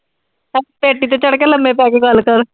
ਪੇਟੀ ਤੇ ਚੜ੍ਹ ਕੇ ਲੰਮੇ ਪੈ ਕੇ ਗੱਲ ਕਰ।